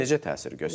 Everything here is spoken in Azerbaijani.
Necə təsir göstərir?